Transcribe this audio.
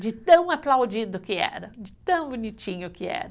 De tão aplaudido que era, de tão bonitinho que era.